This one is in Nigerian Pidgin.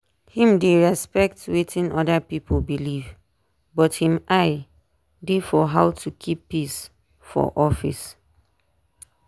him dey respect watin other people believe but him eye dey for how to keep peace for office.